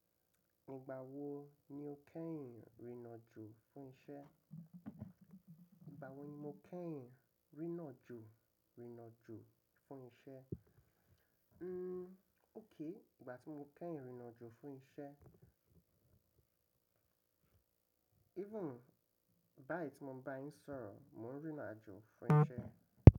Nígbà wo ni o kẹ́yìn rìnrìn àjò fún isẹ́? Nígbà wo ni mo kẹ́yìn rìnrìn àjò, rìnrìn àjò fún isẹ́? Hmm. Ók. Nígbà tí mo kẹ́yìn rìnrìn àjò fún isẹ́. Even báyii ti mo ń bá yín sọ̀rọ̀, mò ń rìnrìn àjò fún isẹ́.